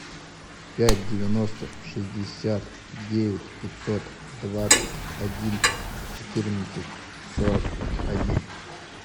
пять девяносто шестьдесят девять пятьсот двадцать один четырнадцать сорок один